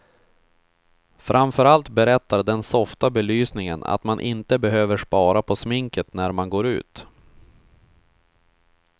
Framför allt berättar den softa belysningen att man inte behöver spara på sminket när man går ut.